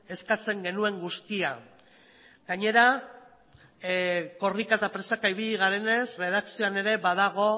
eskatzen genuen guztia gainera korrika eta presaka ibili garenez erredakzioan ere badago